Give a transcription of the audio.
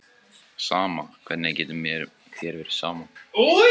Sama, hvernig getur þér verið sama?